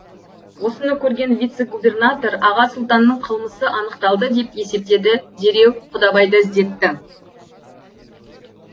осыны көрген вице губернатор аға сұлтанның қылмысы анықталды деп есептеді дереу құдабайды іздетті